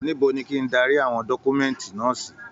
Níbo ní kí darí àwọn dọkumẹ̀nti náà sì?